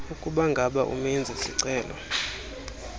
ukubangaba umenzi sicelo